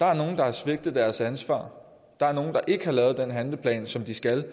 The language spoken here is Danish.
der er nogle der har svigtet deres ansvar at der er nogle der ikke har lavet den handleplan som de skal